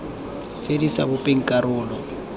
tse di sa bopeng karolo